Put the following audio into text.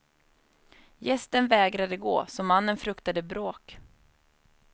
Gästen vägrade gå, så mannen fruktade bråk.